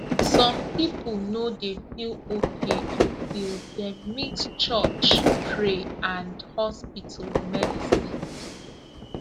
some people no dey feel okay until dem mix church pray and hospital medicine